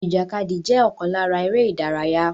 Ìjàkadì jẹ́ ọ̀kan lára eré ìdárayá